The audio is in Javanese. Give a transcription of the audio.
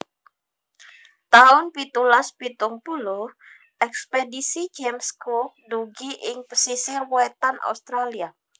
taun pitulas pitung puluh Ekspedisi James Cook dugi ing pesisir wétan Australia